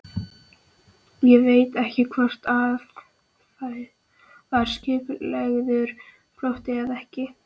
Ég veit ekkert hvort það var skipulagður flótti eða ekki.